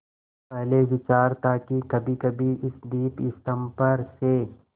पहले विचार था कि कभीकभी इस दीपस्तंभ पर से